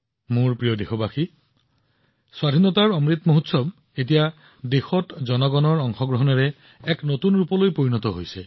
মোৰ মৰমৰ দেশবাসীসকল দেশত স্বাধীনতাৰ অমৃত মহোৎসৱ এতিয়া জনসাধাৰণৰ অংশগ্ৰহণৰ এক নতুন উদাহৰণ হৈ পৰিছে